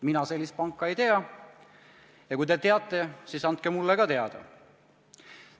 Mina sellist panka ei tea ja kui teie teate, siis andke mulle ka teada.